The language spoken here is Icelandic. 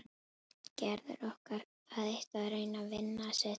Gerður orkar það eitt að reyna að vinna sitt verk.